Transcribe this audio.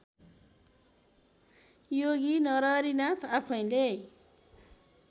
योगी नरहरिनाथ आफैँले